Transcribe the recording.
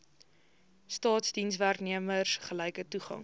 staatsdienswerknemers gelyke toegang